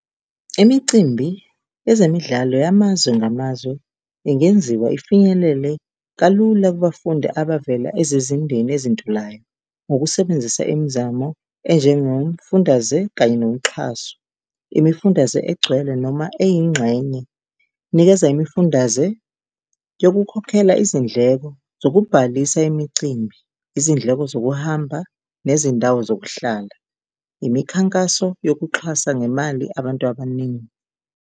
Imicimbi yezemidlalo yamazwe ngamazwe ingenziwa ifinyelele kalula kubafundi abavela ezizindeni ezintulayo ngokusebenzisa imizamo enjengomfundaze kanye nomxhaso. Imifundaze egcwele noma eyingxenye, nikeza imifundaze yokukhokhela izindleko zokubhalisa imicimbi, izindleko zokuhamba nezindawo zokuhlala, imikhankaso yokuxhasa ngemali abantu abaningi.